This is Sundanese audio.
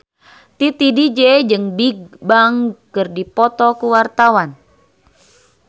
Titi DJ jeung Bigbang keur dipoto ku wartawan